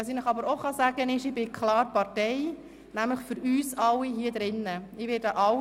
Ich kann Ihnen aber auch sagen, dass ich klar Partei bin, nämlich für uns alle hier im Grossen Rat.